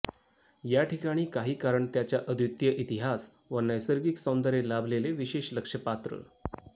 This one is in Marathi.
या ठिकाणी काही कारण त्याच्या अद्वितीय इतिहास व नैसर्गिक सौंदर्य लाभलेले विशेष लक्ष पात्र